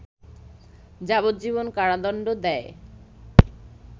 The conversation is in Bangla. যাবজ্জীবন কারাদন্ড দেয়